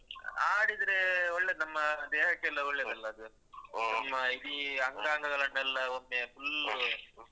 ಮತ್ತೆ ಅದೂ ಆಡಿದ್ರೆ ಒಳ್ಳೇದ್ ನಮ್ಮ ದೇಹಕ್ಕೆಲ್ಲ ಒಳ್ಳೆದಲ್ಲ ಅದು ನಮ್ಮ ಈ ಅಂಗಾಂಗಗಳನ್ನೆಲ್ಲ ಒಮ್ಮೆ full ಲ್ಲು.